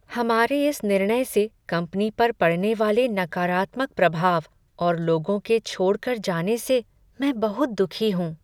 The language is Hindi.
हमारे इस निर्णय से कंपनी पर पड़ने वाले नकारात्मक प्रभाव और लोगों के छोड़ कर जाने से मैं बहुत दुखी हूँ।